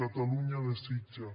catalunya desitja